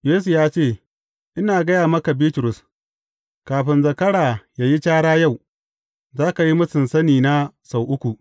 Yesu ya ce, Ina gaya maka Bitrus, kafin zakara ya yi cara yau, za ka yi mūsun sanina sau uku.